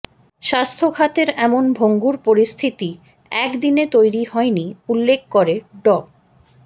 স্বাস্থ্যখাতের এমন ভঙ্গুর পরিস্থিতি একদিনে তৈরি হয়নি উল্লেখ করে ড